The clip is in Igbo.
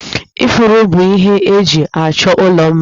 Ifuru bụ ihe eji achọ ụlọ mma